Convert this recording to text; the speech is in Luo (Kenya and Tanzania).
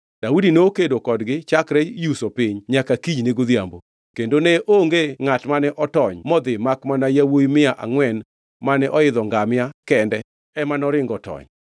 Daudi nokedo kodgi chakre yuso piny nyaka kinyne godhiambo. Kendo ne onge ngʼat mane otony modhi makmana yawuowi mia angʼwen mane oidho ngamia kende ema noringo otony.